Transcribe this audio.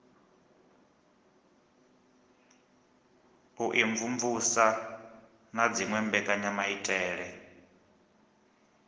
u imvumvusa na dziwe mbekanyamaitele